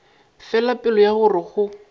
fela pelo ya gore go